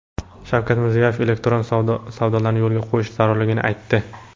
Shavkat Mirziyoyev elektron savdolarni yo‘lga qo‘yish zarurligini aytdi.